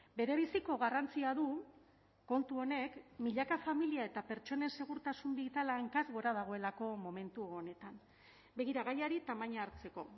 berebiziko garrantzia du kontu honek milaka familia eta pertsonen segurtasun bitala hankaz gora dagoelako momentu honetan begira gaiari tamaina hartzeko